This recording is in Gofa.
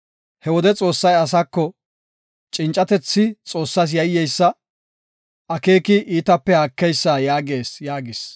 He wode Xoossay asako, ‘Cincatethi Xoossas yayyeysa; akeeki iitaape haakeysa’ yaagees” yaagis.